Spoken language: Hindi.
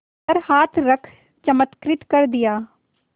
पर हाथ रख चमत्कृत कर दिया